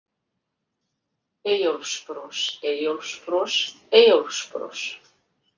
Eyjólfsbros, Eyjólfsbros, Eyjólfsbros.